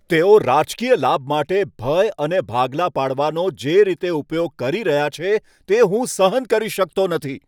તેઓ રાજકીય લાભ માટે ભય અને ભાગલા પાડવાનો કેવી રીતે ઉપયોગ કરી રહ્યા છે તે હું સહન કરી શકતો નથી.